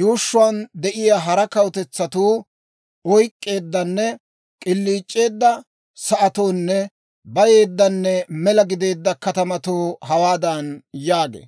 yuushshuwaan de'iyaa hara kawutetsatuu oyk'k'eeddanne k'iliic'eedda sa'atoonne bayeeddanne mela gideedda katamatoo hawaadan yaagee.